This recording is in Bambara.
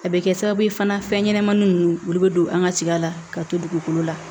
A bɛ kɛ sababu ye fana fɛn ɲɛnɛmanin ninnu olu bɛ don an ka tiga la ka to dugukolo la